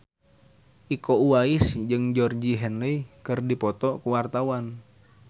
Iko Uwais jeung Georgie Henley keur dipoto ku wartawan